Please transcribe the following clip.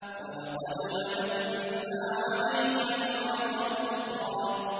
وَلَقَدْ مَنَنَّا عَلَيْكَ مَرَّةً أُخْرَىٰ